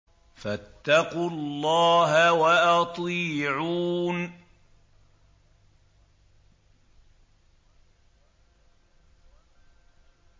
فَاتَّقُوا اللَّهَ وَأَطِيعُونِ